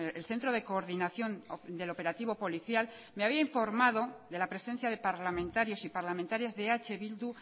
el centro de coordinación del operativo policial me había informado de la presencia de parlamentarios y parlamentarias de eh bildu